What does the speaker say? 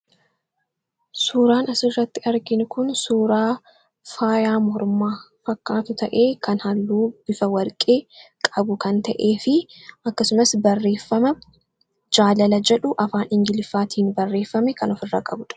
Suuraan isirratti argin kun suuraa faayaa mormaa fakkaatu ta'e kan halluu bifa warqee qabu kan ta'ee fi akkasumas barreeffama jaalala jedhu afaan ingiliffaatiin barreeffame kan of irra qabudha.